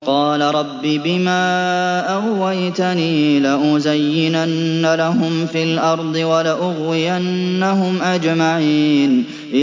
قَالَ رَبِّ بِمَا أَغْوَيْتَنِي لَأُزَيِّنَنَّ لَهُمْ فِي الْأَرْضِ وَلَأُغْوِيَنَّهُمْ أَجْمَعِينَ